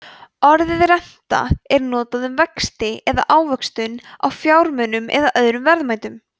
orðið renta er notað um vexti eða ávöxtun á fjármunum eða öðrum verðmætum